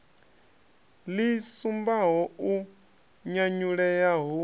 ḽi sumbaho u nyanyulea hu